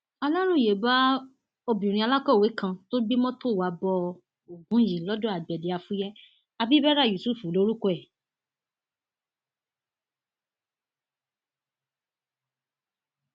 aláròye bá obìnrin alákọwé kan tó gbé mọtò wàá bo ogun yìí lọdọ agbede afuye abibera yusuf lorúkọ ẹ